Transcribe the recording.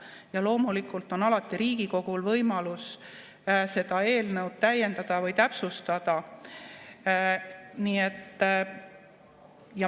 Ja loomulikult on alati Riigikogul võimalus seda eelnõu täiendada või täpsustada.